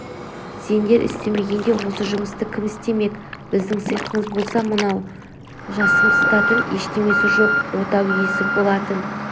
сеңдер істемегенде осы жұмысты кім істемек біздің сиқымыз болса мынау жасымсытатын ештемесі жоқ отау иесі болатын